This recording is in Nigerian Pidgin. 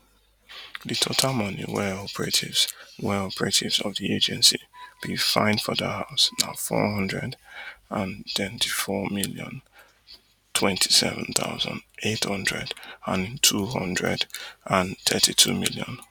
di total money wey operatives wey operatives of di agency bin find for dat house na four hundred and thirty-four million twenty-seven thousand, eight hundred and ntwo hundred and thirty-two million